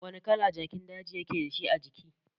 Wani kala jakin daji yake dashi ajiki?